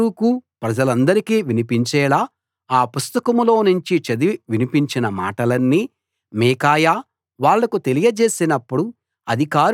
బారూకు ప్రజలందరికీ వినిపించేలా ఆ పుస్తకంలో నుంచి చదివి వినిపించిన మాటలన్నీ మీకాయా వాళ్లకు తెలియజేసినప్పుడు